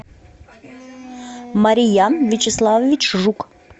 мариян вячеславович жук